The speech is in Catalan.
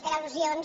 per al·lusions